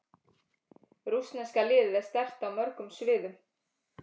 Rússneska liðið er sterkt á mörgum sviðum.